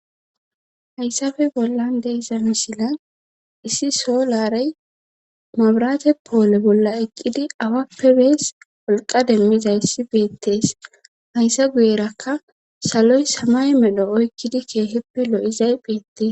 hayssafe bollan deesa misila issi solaray mabraate poole bolla eqqidi awappe bees wolqa demmizayssi beettees hayssa guyerakka saloy samay medho oykkidi keeheppe lo7izay beettes